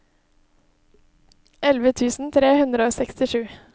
elleve tusen tre hundre og sekstisju